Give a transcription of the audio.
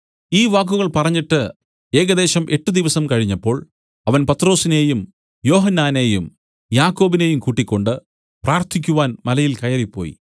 ഈ വാക്കുകൾ പറഞ്ഞിട്ട് ഏകദേശം എട്ട് ദിവസം കഴിഞ്ഞപ്പോൾ അവൻ പത്രൊസിനെയും യോഹന്നാനെയും യാക്കോബിനെയും കൂട്ടിക്കൊണ്ട് പ്രാർത്ഥിക്കുവാൻ മലയിൽ കയറിപ്പോയി